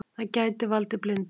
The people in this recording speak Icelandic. Það gæti valdið blindu.